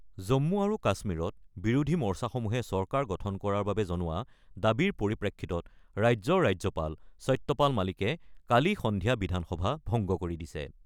জম্মু আৰু কাশ্মীৰত বিৰোধী মৰ্চাসমূহে চৰকাৰ গঠন কৰাৰ বাবে জনোৱা দাবীৰ পৰিপ্ৰেক্ষিতত ৰাজ্যৰ ৰাজ্যপাল সত্যপাল মালিকে কালি সন্ধিয়া বিধানসভা ভংগ কৰি দিছে।